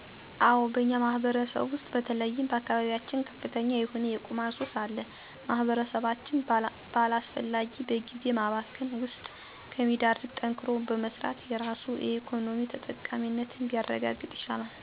አዎ በእኛ ማህበረሰብ ውሰጥ በተለይም በአካባቢየችን ከፍተኛ የሆነ የቁማር ሱስ አለ። ማህበረሰባችን በአላሰፈላጊ በግዜ ማባከን ውሰጥ ከሚዳረግ ጠንክሮ በመሰራት የራሱን የኢኮኖሚ ተጠቃሚነት ቢያረጋግጥ ይሻላል።